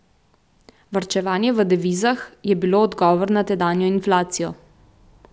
Varčevanje v devizah je bilo odgovor na tedanjo inflacijo.